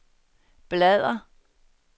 bladr